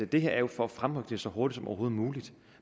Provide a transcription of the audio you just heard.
det her er jo for at fremrykke det så hurtigt som overhovedet muligt